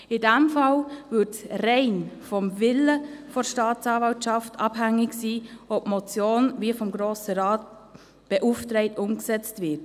In diesem Fall wäre es bloss vom Willen der Staatsanwaltschaft abhängig, ob die Motion, wie vom Grossen Rat beauftragt, umgesetzt wird.